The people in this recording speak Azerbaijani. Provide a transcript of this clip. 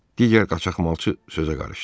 Digər qaçaqmalçı sözə qarışdı.